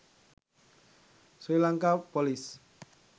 srilanka police